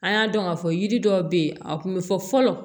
An y'a dɔn k'a fɔ yiri dɔw bɛ yen a kun bɛ fɔ fɔlɔ